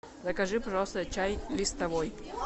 закажи пожалуйста чай листовой